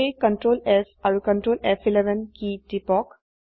সেয়ে Ctrl S আৰু Ctrl ফ11 কী টিপক